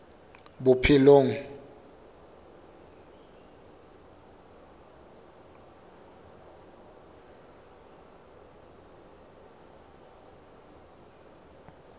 bophelong